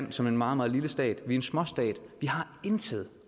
vi som en meget meget lille stat kan en småstat vi har intet